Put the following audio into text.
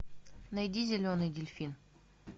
найди зеленый дельфин